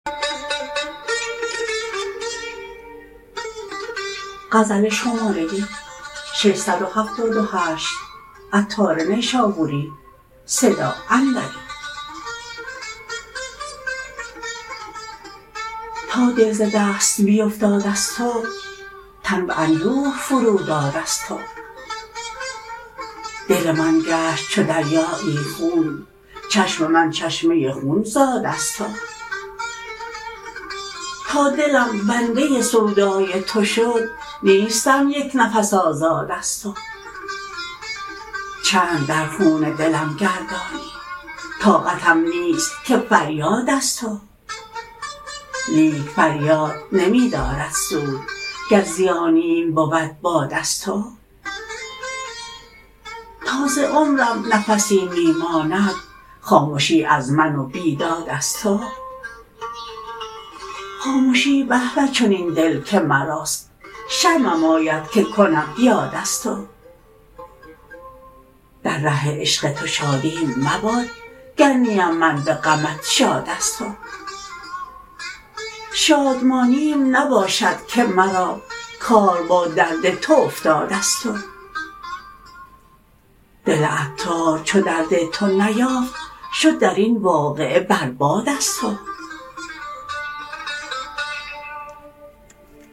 تا دل ز دست بیفتاد از تو تن به اندوه فرو داد از تو دل من گشت چو دریایی خون چشم من چشمه خون زاد از تو تا دلم بنده سودای تو شد نیستم یک نفس آزاد از تو چند در خون دلم گردانی طاقتم نیست که فریاد از تو لیک فریاد نمی دارد سود گر زیانیم بود باد از تو تا ز عمرم نفسی می ماند خامشی از من و بیداد از تو خامشی به به چنین دل که مراست شرمم آید که کنم یاد از تو در ره عشق تو شادیم مباد گر نیم من به غمت شاد از تو شادمانیم نباشد که مرا کار با درد تو افتاد از تو دل عطار چو درد تو نیافت شد درین واقعه بر باد از تو